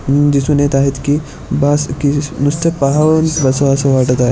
दिशून येत आहेत की बास की नुसत पाहावं आणि बसावं असं वाटत आहे.